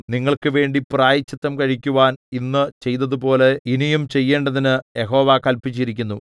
നിങ്ങൾക്കുവേണ്ടി പ്രായശ്ചിത്തം കഴിക്കുവാൻ ഇന്ന് ചെയ്തതുപോലെ ഇനിയും ചെയ്യേണ്ടതിന് യഹോവ കല്പിച്ചിരിക്കുന്നു